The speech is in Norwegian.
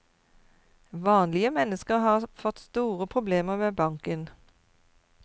Vanlige mennesker har fått store problemer med banken.